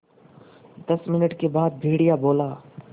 दस मिनट के बाद भेड़िया बोला